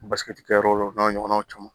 Basiki kɛ yɔrɔw la o n'a ɲɔgɔnnaw caman